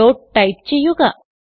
dot type ചെയ്യുക